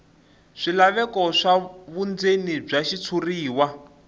swilaveko swa vundzeni bya xitshuriwa